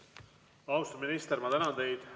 Austatud minister, ma tänan teid!